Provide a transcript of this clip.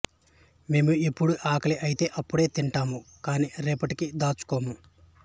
మేము ఎప్పుడు ఆకలి అయితే అప్పుడే తింటాము కాని రేపటికి దాచుకోము